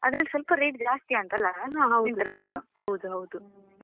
ಅದ್ರಲ್ಲಿ ಸ್ವಲ್ಪ rate ಜಾಸ್ತಿಯಾ ಅಂತಲ್ಲ Myntra ದಲ್ಲಿ .